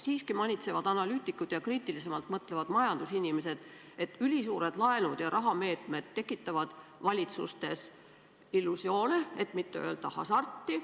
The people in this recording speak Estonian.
Siiski manitsevad analüütikud ja kriitilisemalt mõtlevad majandusinimesed, et ülisuured laenud ja rahalised meetmed tekitavad valitsustes illusioone, et mitte öelda hasarti.